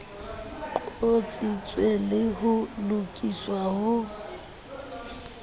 qotsitswe le ho lokiswa ho